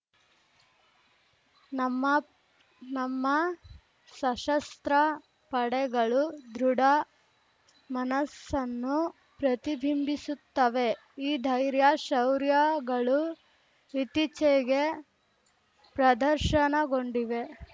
ನಮ್ಮ ನಮ್ಮ ಸಶಸ್ತ್ರ ಪಡೆಗಳು ದೃಢ ಮನಸ್ಸನ್ನು ಪ್ರತಿಬಿಂಬಿಸುತ್ತವೆ ಈ ಧೈರ್ಯ ಶೌರ್ಯಗಳು ಇತ್ತೀಚೆಗೆ ಪ್ರದರ್ಶನಗೊಂಡಿವೆ